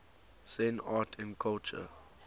zen art and culture